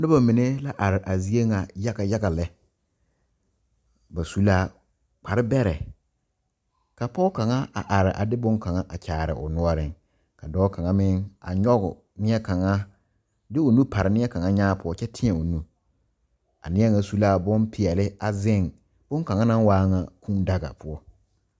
Noba mine la are a zie ŋa yaga yaga lɛ ba su la kparebɛrɛ ka pɔge kaŋa a are a de bonkaŋa a kyaare o noɔreŋ ka dɔɔ kaŋa meŋ a nyɔge neɛ kaŋa de o nu pare neɛ kaŋa nyaa poɔ kyɛ teɛ o nu a neɛ ŋa su la bompeɛle a zeŋ bonkaŋa naŋ waa ŋa Kūūdaga poɔ.